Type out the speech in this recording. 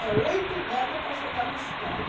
É oito légua para chegar na cidade.